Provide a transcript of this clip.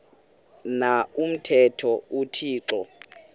na umthetho uthixo